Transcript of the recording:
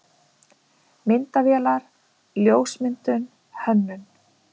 MYNDAVÉLAR, LJÓSMYNDUN, HÖNNUN